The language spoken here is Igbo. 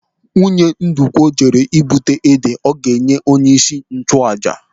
Nwunye Ndukwu jere ị́bụta ede ọ ga-enye onyeisi nchụàjà.